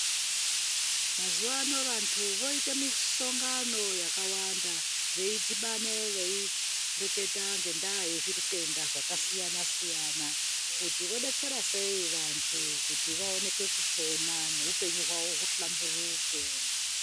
Mazuwano vantu voita misongano yakawanda ,veidhibane veireketa ngendaa yezvitenda zvakasiyana -siyana kuti vodetsera sei vantu kuti vaoneke kupona neupenyu hwavo uhlamburike.